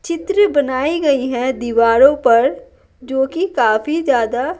चित्र बनाई गई है दीवारों पर जोकि काफी ज्यादा--